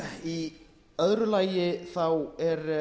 í öðru lagi er